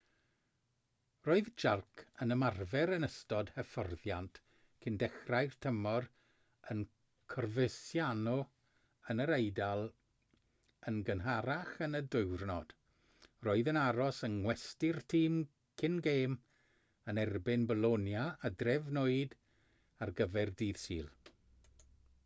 roedd jarque yn ymarfer yn ystod hyfforddiant cyn dechrau'r tymor yn coverciano yn yr eidal yn gynharach yn y diwrnod roedd yn aros yng ngwesty'r tîm cyn gêm yn erbyn bolonia a drefnwyd ar gyfer dydd sul